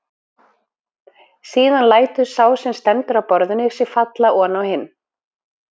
Síðan lætur sá sem stendur á borðinu sig falla oná hinn.